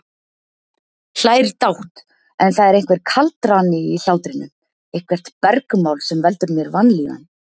Hlær dátt, en það er einhver kaldrani í hlátrinum, eitthvert bergmál sem veldur mér vanlíðan.